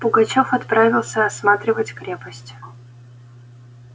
пугачёв отправился осматривать крепость